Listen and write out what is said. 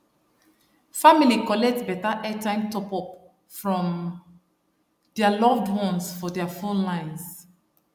family collect better airtime topup from their loved ones for their phone lines